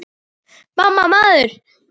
MAMMA, maður!